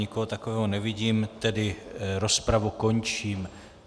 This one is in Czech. Nikoho takového nevidím, tedy rozpravu končím.